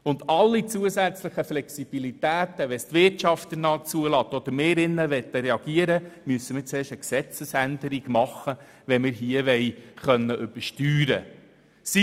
Für jegliche zusätzliche Flexibilität, sollte dies zum Beispiel die Wirtschaft zulassen, brauchte es dann zuerst eine Gesetzesänderung, damit wir seitens des Grossen Rats übersteuern können.